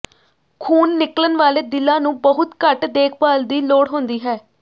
ਖੂਨ ਨਿਕਲਣ ਵਾਲੇ ਦਿਲਾਂ ਨੂੰ ਬਹੁਤ ਘੱਟ ਦੇਖਭਾਲ ਦੀ ਲੋੜ ਹੁੰਦੀ ਹੈ